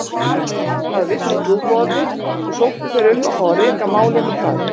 Það vissu trúboðarnir og sóttu þeir um að fá að reka málið með hraði.